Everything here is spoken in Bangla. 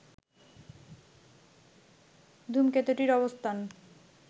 ধূমকেতুটির অবস্থান